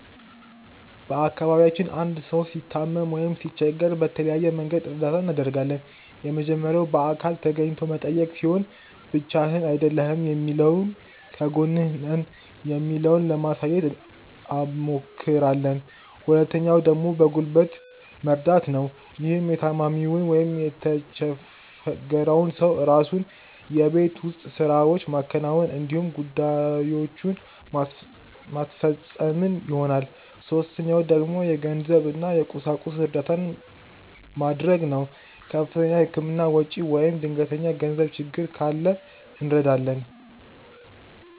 በአካባቢያችን አንድ ሰው ሲታመም ወይም ሲቸገር በተለያየ መንገድ እርዳታ እናደርጋለን። የመጀመሪያው በአካል ተገኝቶ መጠየቅ ሲሆን ብቻህን አይደለህም የሚለውን ከጎንህ ነን የሚለውን ለማሳየት አብሞክራለን። ሁለተኛው ደግሞ በጉልበት መርደት ነው። ይህም የታማሚውን ወይም የተቸፈረውን ሰው የራሱን የቤት ውስጥ ስራዎች ማከናወን እንዲሁም ጉዳዬችን ማስፈፀን ይሆናል። ሶስተኛው ደግሞ የገንዘብ እና የቁሳቁስ እርዳታ መድረግ ነው። ከፍተኛ የህክምና ወጪ ወይም ድንገተኛ የገንዘብ ችግር ካለ እንረዳለን።